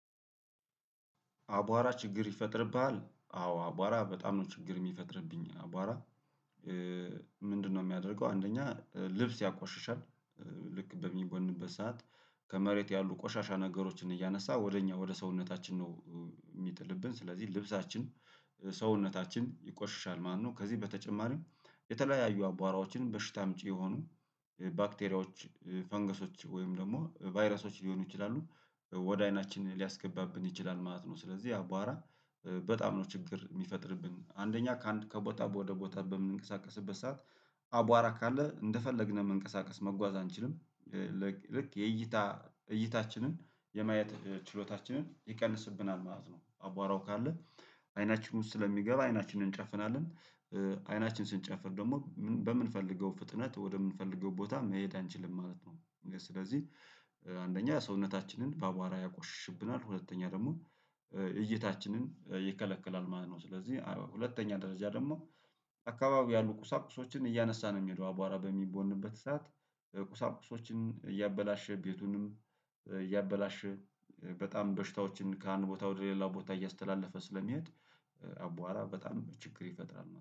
አቧራ ችግር ይፈጥርብሃል? አዎ አቧራ በጣም ነው ችግር የሚፈጥርብኝ አቧራ? ምንድነው የሚያደርገው አንደኛ ልብስ ያቆሽሻል። ልክ በሚቦንበት ሰዓት ከመሬት ያሉ ቆሻሻ ነገሮችን እያነሳ ወደ እኛ ወደ ሰውነታችን ነው። የሚጥልብን ስለዚህ ልብሳችን ሰውነታችን ይቆሽሻል። ማነው ከዚህ በተጨማሪም የተለያዩ አቧራዎችን በሽታ አምጪ የሆኑ ባክቴሪያዎች ፈንገሶች ወይም ደግሞ ቫይረሶች ሊሆኑ ይችላሉ ወደ አይናችን ሊያስገባብን ይችላል ማለት ነው። ስለዚህ አቧራ በጣም ነው ችግር የሚፈጥርብን አንደኛ ከአንድ ከቦታ ወደ ቦታ በምንቀሳቀስበት ሰዓት አቧራ ካለ እንደፈለግን መንቀሳቀስ መጓዝ አንችልም። ልክ የእይታ እይታችንን የማየት ችሎታችንን ይቀንስብናል ማለት ነው። አቧራው ካለ አይናችን ውስጥ ስለሚገባ አይናችንን እንጨፍናለን። አይናችን ስንጨፍን ደግሞ በምንፈልገው ፍጥነት ወደምንፈልገው ቦታ መሄድ አንችልም ማለት ነው። ስለዚህ አንደኛ ሰውነታችንን በአቧራ ያቆሽሽብናል ሁለተኛ ደግሞ እይታችንን ይከለክላል ማለት ነው። ስለዚህ ሁለተኛ ደረጃ ደግሞ አካባቢ ያሉ ቁሳቁሶችን እያነሳ ነው የሚሄደው አቧራ በሚቦንበት ሰዓት። ቁሳቁሶችን እያበላሸ ቤቱንም እያበላሸ በጣም በሽታዎችን ከአንድ ቦታ ወደ ሌላው ቦታ እያስተላለፈ ስለሚያድ አቧር በጣም ችግር ይፈጥራል